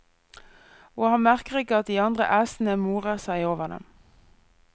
Og han merker ikke at de andre æsene morer seg over dem.